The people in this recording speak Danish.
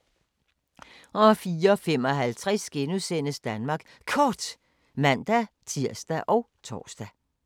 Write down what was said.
04:55: Danmark Kort *(man-tir og tor)